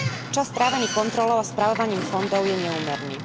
Čas strávený kontrolou a spravovaním fondov je neúmerný.